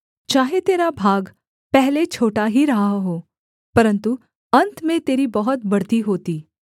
चाहे तेरा भाग पहले छोटा ही रहा हो परन्तु अन्त में तेरी बहुत बढ़ती होती